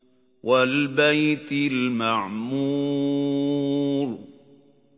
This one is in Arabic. وَالْبَيْتِ الْمَعْمُورِ